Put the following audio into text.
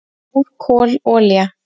"""Mór, kol, olía"""